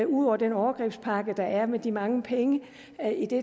ud over den overgrebspakke der er med de mange penge